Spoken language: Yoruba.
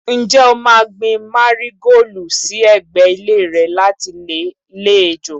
Ǹjẹ́ o máa gbin Márígóòlù sí ẹ̀gbẹ́ ilé rẹ láti lè lé ejò?